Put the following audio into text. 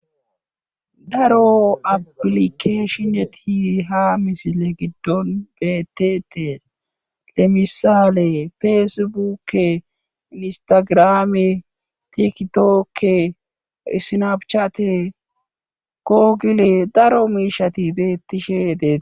daro apilikeeshine tiiiha misile giddon beettete lemisaale feesebukke listagrame tikitokke isinabchate koogile daro miishati beettishedeee